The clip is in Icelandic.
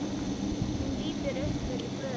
Hún lítur upp fyrir blöðin.